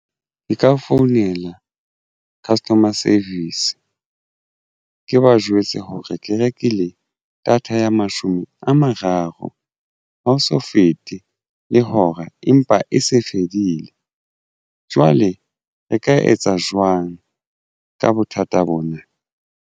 Ke ka founela customer service ke ba jwetse hore ke rekile data ya mashome a mararo. Ha o so fete le hora empa e se fedile. Jwale re ka etsa jwang ka bothata bona?